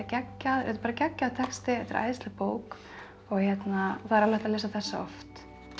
er bara geggjaður texti þetta er æðisleg bók það er alveg hægt að lesa þessa oft